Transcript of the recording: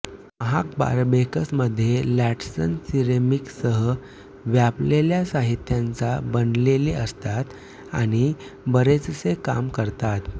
महाग बारबेकस मध्ये लॅटनस सिरेमिकसह व्यापलेल्या साहित्याचा बनलेले असतात आणि बरेचसे काम करतात